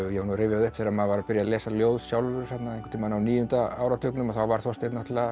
ég var að rifja upp þegar maður var að byrja að lesa ljóð sjálfur einhvern tímann á níunda áratugnum þá var Þorsteinn